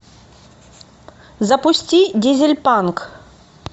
запусти дизельпанк